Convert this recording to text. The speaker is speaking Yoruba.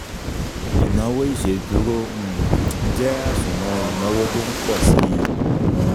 Ìnawo ìsèdúró um jẹ́ àsùnwòn ìnáwó tó npọ̀ síi